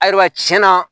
Ayiwa tiɲɛna